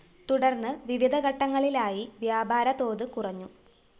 തുടര്‍ന്ന് വിവിധ ഘട്ടങ്ങളിലായി വ്യാപാര തോത് കുറഞ്ഞു